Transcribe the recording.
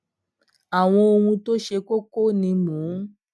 awon ohun to se koko ni mo n